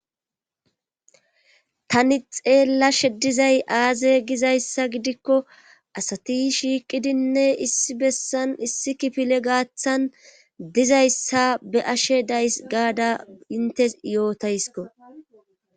Tani xeellashhe dizay aaze gizayssa gidikko asati shiiqidinne issi bessan issi kipile gaaththan dizayssa be ashe day gaada intes yootaysko.